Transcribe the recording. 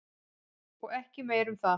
Og ekki meira um það.